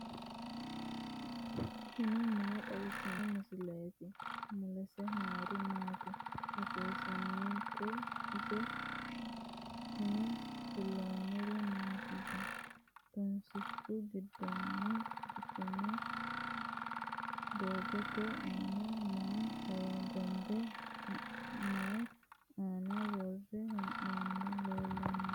tini maa xawissanno misileeti ? mulese noori maati ? hiissinannite ise ? tini kultannori mattiya? tunsichu gidoonni doogotte aanna maa hogonbe ? mayi aanna worre? hee'noonnihu leelanno?